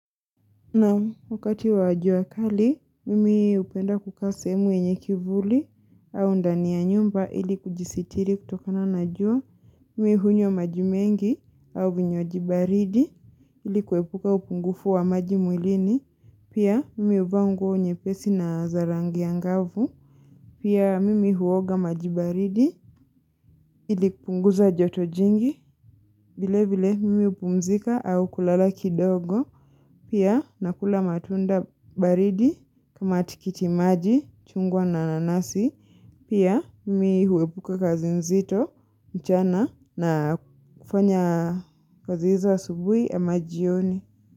Naam wakati wa jua kali, mimi hupenda kukaa sehemu yenye kivuli au ndani ya nyumba ili kujisitiri kutokana na jua Mimi hunywa maji mengi au vinywaji baridi ili kuepuka upungufu wa maji mwilini. Pia mimi huvaa nguo nyepesi na za rangi angavu. Pia mimi huoga maji baridi ili kupunguza joto jingi. Vile vile mimi hupumzika au kulala kidogo. Pia nakula matunda baridi kama tikiti maji, chungwa na nanasi. Pia mimi huepuka kazi nzito, mchana na kufanya kazi hizo asubuhi ama jioni.